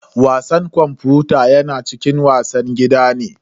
Wasan kwamfuta yana cikin wasan gida ne.